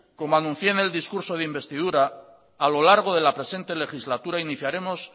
como anuncié en el discurso de investidura a lo largo de la presente legislatura iniciaremos